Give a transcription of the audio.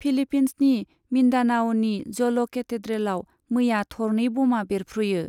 फिलीपीन्सनि मिन्डानाअ'नि जल' केथेड्रेलाव मैया थरनै बमा बेरफ्रुयो।